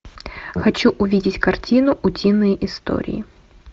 хочу увидеть картину утиные истории